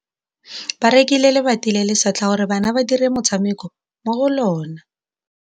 Ba rekile lebati le le setlha gore bana ba dire motshameko mo go lona.